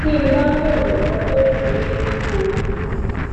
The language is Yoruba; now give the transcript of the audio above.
tí n bá ròyìn nǹkan tójú mi rí nínú oyún